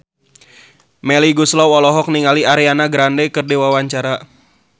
Melly Goeslaw olohok ningali Ariana Grande keur diwawancara